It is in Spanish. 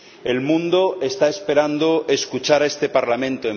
El mundo está esperando escuchar a este Parlamento.